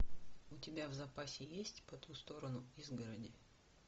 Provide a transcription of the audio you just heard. у тебя в запасе есть по ту сторону изгороди